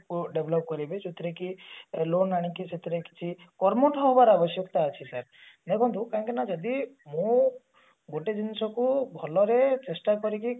କୁ develop କରିକି ଯେଉଥିରେ କି ସେଥିରେ କିଛି କର୍ମଠ ହବାର ଆବଶ୍ୟକତା ଅଛି sir ଦେଖନ୍ତୁ କାଇଁ କି ନା ଯଦି ମୁଁ ଗୋଟେ ଜିନିଷ କୁ ଭଲରେ ଚେଷ୍ଟା କରିକି